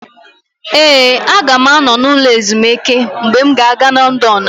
Ee, aga m anọ n'ụlọ ezumike mgbe m ga-aga Lọndọnụ.